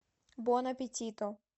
бон аппетито